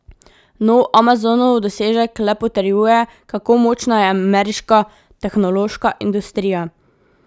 Nov Amazonov dosežek le potrjuje, kako močna je ameriška tehnološka industrija.